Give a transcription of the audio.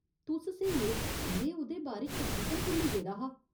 तुस स्हेई ओ, में ओह्‌दे बारे च तकरीबन भुल्ली गेदा हा।